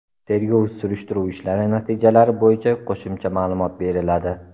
Tergov-surishtiruv ishlari natijalari bo‘yicha qo‘shimcha ma’lumot beriladi.